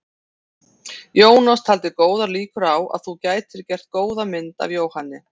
Jónas taldi góðar líkur á að þú gætir gert góða mynd af Jóhanni.